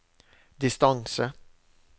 distance